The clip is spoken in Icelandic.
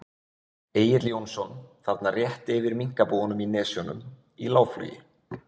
Egill Jónsson, þarna rétt yfir minkabúunum í Nesjunum, í lágflugi.